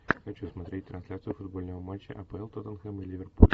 хочу смотреть трансляцию футбольного матча апл тоттенхэм и ливерпуль